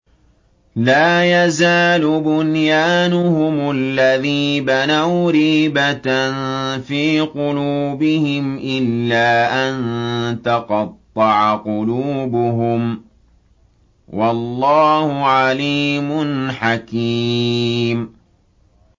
لَا يَزَالُ بُنْيَانُهُمُ الَّذِي بَنَوْا رِيبَةً فِي قُلُوبِهِمْ إِلَّا أَن تَقَطَّعَ قُلُوبُهُمْ ۗ وَاللَّهُ عَلِيمٌ حَكِيمٌ